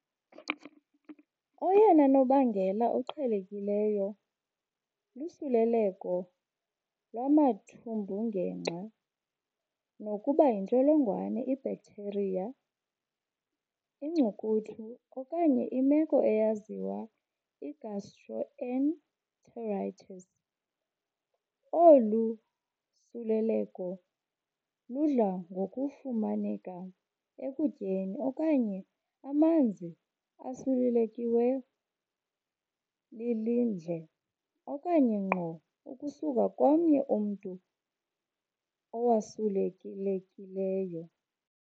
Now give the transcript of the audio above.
Oyena nobangela uqhelekileyo lusuleleko lwamathumbungenxa nokuba yintsholongwane, ibacteria, inkcukuthu, okanye imeko eyaziwa i-gastroenteritis. Olu suleleleko ludla ngokufumaneka ekutyeni okanye amanzi asulelekilwe lilindle, okanye ngqo ukusuka komnye umntu owasulekilekileyo.